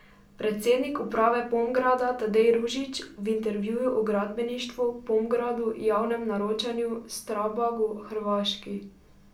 Predsednik uprave Pomgrada Tadej Ružič v intervjuju o gradbeništvu, Pomgradu, javnem naročanju, Strabagu, Hrvaški ...